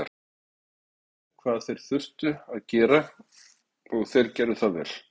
Leikmennirnir vissu hvað þeir þurftu að gera og þeir gerðu það vel